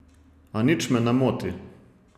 A nič me ne moti.